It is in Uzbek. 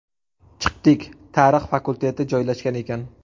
Chiqdik, tarix fakulteti joylashgan ekan.